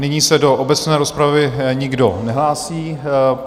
Nyní se do obecné rozpravy nikdo nehlásí.